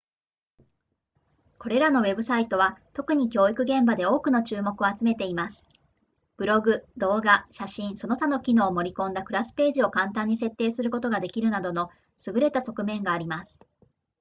これらのウェブサイトは特に教育現場で多くの注目を集めていますブログ動画写真その他の機能を盛り込んだクラスページを簡単に設定することができるなどの優れた側面があります